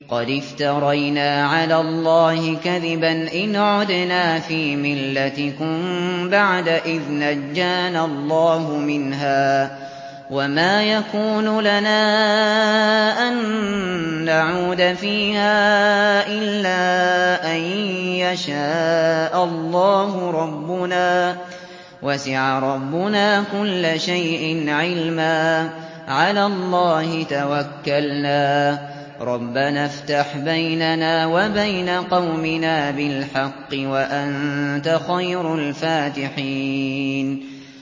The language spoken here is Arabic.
قَدِ افْتَرَيْنَا عَلَى اللَّهِ كَذِبًا إِنْ عُدْنَا فِي مِلَّتِكُم بَعْدَ إِذْ نَجَّانَا اللَّهُ مِنْهَا ۚ وَمَا يَكُونُ لَنَا أَن نَّعُودَ فِيهَا إِلَّا أَن يَشَاءَ اللَّهُ رَبُّنَا ۚ وَسِعَ رَبُّنَا كُلَّ شَيْءٍ عِلْمًا ۚ عَلَى اللَّهِ تَوَكَّلْنَا ۚ رَبَّنَا افْتَحْ بَيْنَنَا وَبَيْنَ قَوْمِنَا بِالْحَقِّ وَأَنتَ خَيْرُ الْفَاتِحِينَ